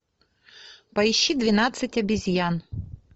поищи двенадцать обезьян